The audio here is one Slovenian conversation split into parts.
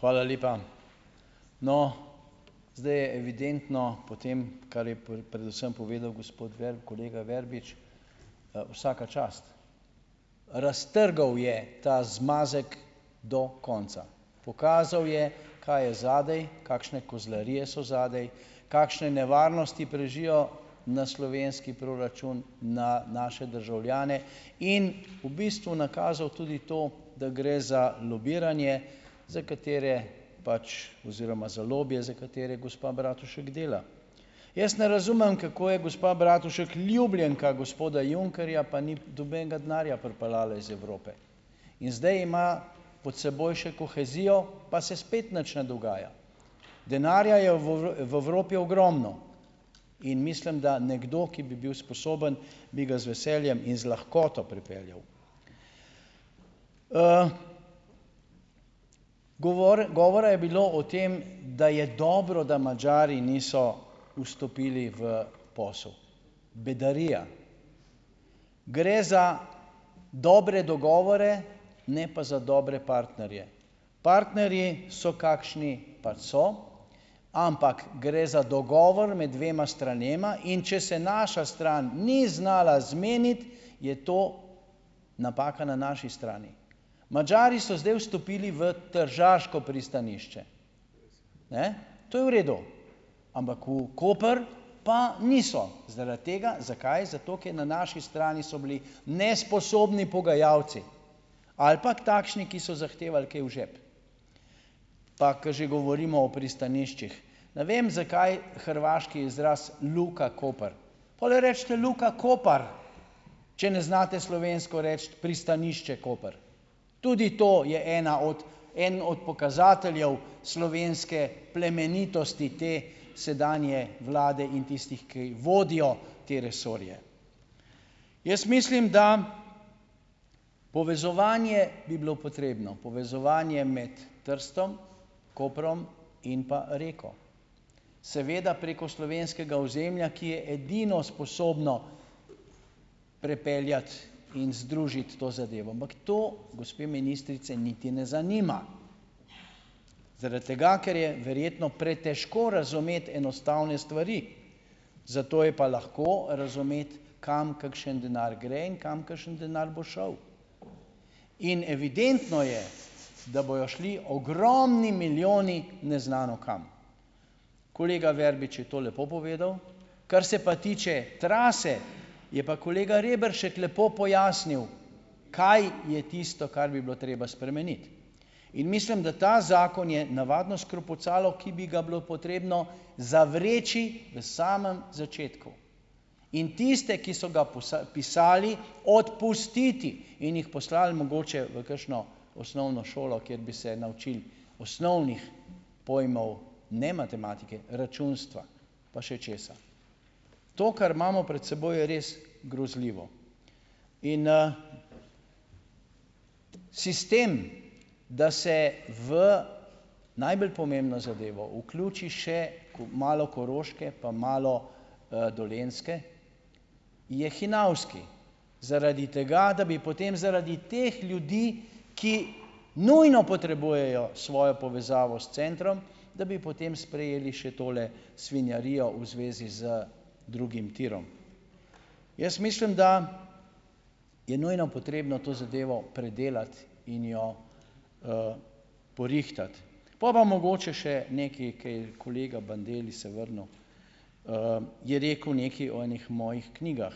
Hvala lepa. No, zdaj je evidentno po tem, kar je predvsem povedal gospod kolega Verbič - vsaka čast. Raztrgal je ta zmazek do konca. Pokazal je, kaj je zadaj, kakšne kozlarije so zadaj, kakšne nevarnosti prežijo na slovenski proračun, na naše državljane in v bistvu nakazal tudi to, da gre za lobiranje, za katere pač oziroma za lobije, za katere gospa Bratušek dela. Jaz ne razumem, kako je gospa Bratušek ljubljenka gospoda Junckerja, pa ni nobenega denarja pripeljala iz Evrope. In zdaj ima pod seboj še kohezijo, pa se spet nič ne dogaja. Denarja je v v Evropi ogromno in mislim, da nekdo, ki bi bil sposoben, bi ga z veseljem in z lahkoto pripeljal. Govor, govora je bilo o tem, da je dobro, da Madžari niso vstopili v posel, bedarija. Gre za dobre dogovore, ne pa za dobre partnerje. Partnerji so, kakšni pač so, ampak gre za dogovor med dvema stranema, in če se naša stran ni znala zmeniti, je to napaka na naši strani. Madžari so zdaj vstopili v tržaško pristanišče. Ne. To je v redu, ampak v Koper pa niso, zaradi tega - zakaj? Zato, na naši strani so bili nesposobni pogajalci ali pa ke takšni, ki so zahtevali kaj v žep. Pa ke že govorimo o pristaniščih. Ne vem, zakaj hrvaški izraz Luka Koper. Pol recite Luka Kopar, če ne znate slovensko reči pristanišče Koper. Tudi to je ena od en od pokazateljev slovenske plemenitosti te sedanje vlade in tistih, ki vodijo te resorje. Jaz mislim, da povezovanje bi bilo potrebno. Povezovanje med Trstom, Koprom in pa Reko. Seveda preko slovenskega ozemlja, ki je edino sposobno prepeljati in združiti to zadevo. Ampak to gospe ministrice niti ne zanima. Zaradi tega, ker je verjetno pretežko razumeti enostavne stvari. Zato je pa lahko razumeti, kam kakšen denar gre in kam kakšen denar bo šel. In evidentno je, da bojo šli ogromni milijoni neznano kam. Kolega Verbič je to lepo povedal. Kar se pa tiče trase, je pa kolega Reberšek lepo pojasnil, kaj je tisto, kar bi bilo treba spremeniti. In mislim, da ta zakon je navadno skrpucalo, ki bi ga bilo potrebno zavreči v samem začetku. In tiste, ki so ga pisali, odpustiti. In jih poslali mogoče v kakšno osnovno šolo, kjer bi se naučil osnovnih pojmov, ne, matematike, računstva pa še česa. To, kar imamo pred seboj, je res grozljivo. In, sistem, da se v najbolj pomembno zadevo vključi še malo Koroške pa malo, Dolenjske, je hinavski. Zaradi tega, da bi potem zaradi teh ljudi, ki nujno potrebujejo svojo povezavo s centrom, da bi potem sprejeli še tole svinjarijo v zvezi z drugim tirom. Jaz mislim, da je nujno potrebno to zadevo predelati in jo, porihtati. Pol bo mogoče še nekaj, kaj kolega Bandelli se vrnil, je rekel nekaj o enih mojih knjigah,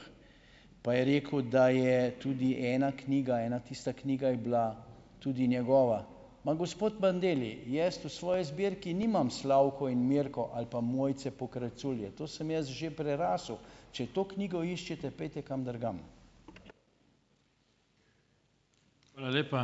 pa je rekel, da je tudi ena knjiga, ena tista knjiga je bila tudi njegova. Ma gospod Bandelli, jaz v svoji zbirki nimam Slavko in Mirko ali pa Mojce Pokrajculje, to sem jaz že prerasel, če to knjigo iščete, pojdite kam drugam.